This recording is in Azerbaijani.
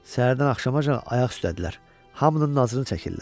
Səhərdən axşamaacan ayaq üstdədirlər, hamının nazını çəkirlər.